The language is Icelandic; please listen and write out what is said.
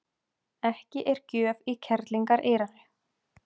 Ekki er gjöf í kerlingareyranu.